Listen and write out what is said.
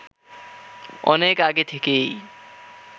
অনেক আগে থেকেই